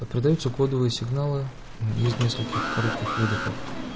продаются кодовые сигналы из нескольких коротких выдохов